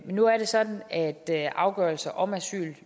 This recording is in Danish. nu er det sådan at afgørelser om asyl